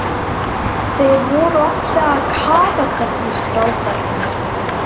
Þeir voru allir að kafa þarna strákarnir.